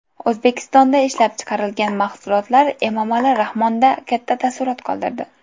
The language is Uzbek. O‘zbekistonda ishlab chiqarilgan mahsulotlar Emomali Rahmonda katta taassurot qoldirdi.